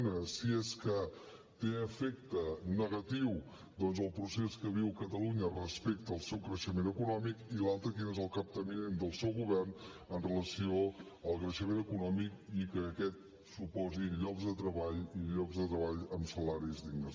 una si és que té efecte negatiu doncs el procés que viu catalunya respecte al seu creixement econòmic i l’altra quin és el capteniment del seu govern amb relació al creixement econòmic i que aquest suposi llocs de treball i llocs de treball amb salaris dignes